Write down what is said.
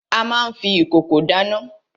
A má n fi ìkòkò dáná.